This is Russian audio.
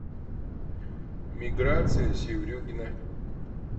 миграция севрюгина